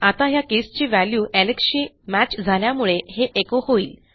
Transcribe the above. आता ह्या केसची व्हॅल्यू Alexशी मॅच झाल्यामुळे हे एचो होईल